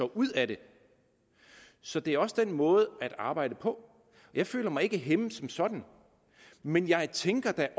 ud af det så det er også den måde der arbejdes på jeg føler mig ikke hæmmet som sådan men jeg tænker da